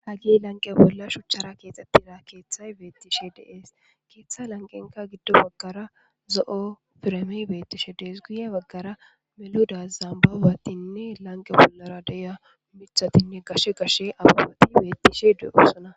Hagey lanqe bolla shucara kexetida kethay betishe de'es .ketha lanqenka gido bagara zo'o piremey betishe Des, guye bagara melida zambabatinne lanqe bollara de'iya mithatine gashe gashe mithati betishe de'osona.